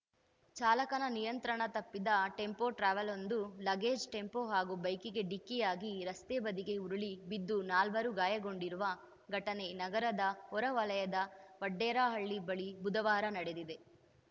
ಚಾಲಕನ ನಿಯಂತ್ರಣ ತಪ್ಪಿದ ಟೆಂಪೊ ಟ್ರಾವೆಲ್‌ವೊಂದು ಲಗೇಜ್‌ ಟೆಂಪೋ ಹಾಗೂ ಬೈಕಿಗೆ ಡಿಕ್ಕಿಯಾಗಿ ರಸ್ತೆ ಬದಿಗೆ ಉರುಳಿ ಬಿದ್ದು ನಾಲ್ವರು ಗಾಯಗೊಂಡಿರುವ ಘಟನೆ ನಗರದ ಹೊರ ವಲಯದ ವಡೇರಹಳ್ಳಿ ಬಳಿ ಬುಧವಾರ ನಡೆದಿದೆ